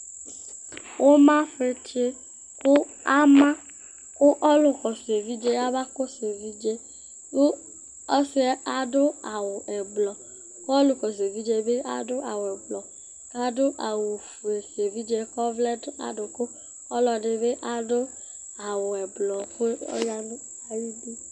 Ʋmafɩtsɩ kʋ ama kʋ ɔlʋkɔsʋ evidze yɛ abakɔsʋ evidze yɛ kʋ ɔsɩ yɛ adʋ awʋ ɛblɔ kʋ ɔlʋkɔsʋ evidze yɛ bɩ adʋ awʋ ɛblɔ kʋ adʋ awʋfue ka evidze yɛ kʋ ɔvlɛ nʋ adʋkʋ kʋ ɔlɔdɩ bɩ adʋ awʋ ɛblɔ kʋ ɔya nʋ ayidu